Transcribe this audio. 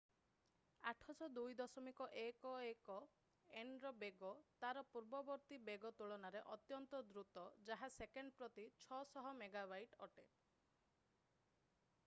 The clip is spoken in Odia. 802.11nର ବେଗ ତାର ପୂର୍ବବର୍ତ୍ତୀ ବେଗ ତୁଳନାରେ ଅତ୍ୟନ୍ତ ଦ୍ରୁତ ଯାହା ସେକେଣ୍ଡ ପ୍ରତି 600 ମେଗାବାଇଟ ଅଟେ ।